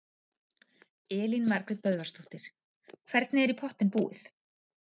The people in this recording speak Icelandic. Elín Margrét Böðvarsdóttir: Hvernig er í pottinn búið?